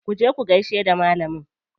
Ku je ku gaishe da malamin.